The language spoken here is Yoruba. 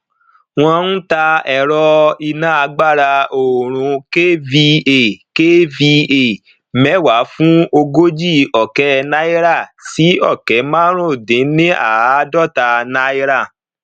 wọn ń tà ẹrọ iná agbára oòrùn kva kva mẹwàà fún ogójì ọkẹ náírà sí ọkẹ màrúndínníàádọta náírà